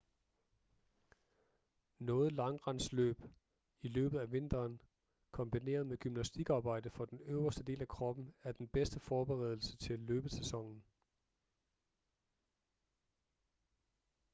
noget langrendsløb i løbet af vinteren kombineret med gymnastikarbejde for den øverste del af kroppen er den bedste forberedelse til løbesæsonen